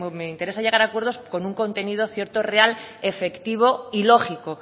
me interesa llegar a acuerdos con un contenido cierto real efectivo y lógico